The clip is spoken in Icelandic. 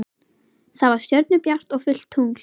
Það var stjörnubjart og fullt tungl.